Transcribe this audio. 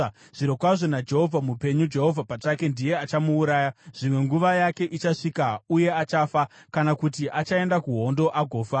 Zvirokwazvo naJehovha mupenyu, Jehovha pachake ndiye achamuuraya; zvimwe nguva yake ichasvika uye achafa, kana kuti achaenda kuhondo agofa.